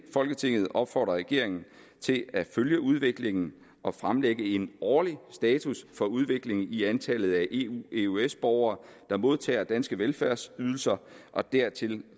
folketinget opfordrer regeringen til at følge udviklingen og fremlægge en årlig status for udviklingen i antallet af eueøs borgere der modtager danske velfærdsydelser og dertil